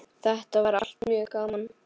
Þetta var allt mjög gaman.